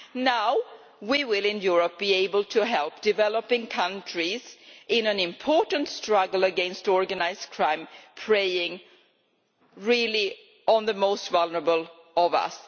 Now, in Europe, we will be able to help developing countries in an important struggle against organised crime, which preys on the most vulnerable of us.